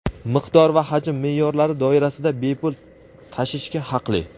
miqdor va hajm meʼyorlari doirasida bepul tashishga haqli.